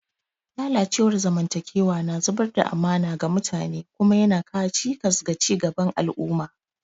Lalacewar zamantakewa na zubar da amana ga mutane kuma yana kawo cikas ga ci gaban al'umma.